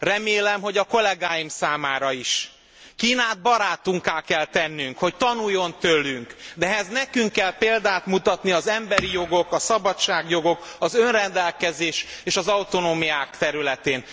Remélem, hogy a kollegáim számára is. Kínát barátunkká kell tennünk, hogy tanuljon tőlünk, de ehhez nekünk kell példát mutatni az emberi jogok, a szabadságjogok, az önrendelkezés és az autonómiák területén.